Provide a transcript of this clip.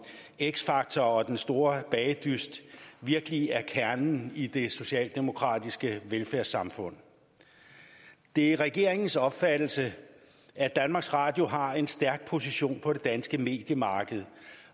x factor og den store bagedyst virkelig er kernen i det socialdemokratiske velfærdssamfund det er regeringens opfattelse at danmarks radio har en stærk position på det danske mediemarked